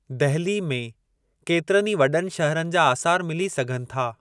दहिली में केतिरनि ई वॾनि शहरनि जा आसारु मिली सघनि था।